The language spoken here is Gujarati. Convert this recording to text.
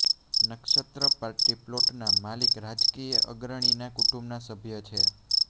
નક્ષત્ર પાર્ટી પ્લોટના માલિક રાજકીય અગ્રણીના કુટુંબના સભ્ય છે